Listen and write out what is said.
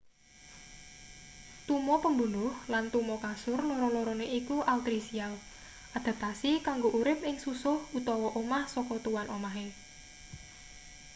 tuma pembunuh lan tuma kasur loro-lorone iku altricial adaptasi kanggo urip ing susuh utawa omah saka tuan omahe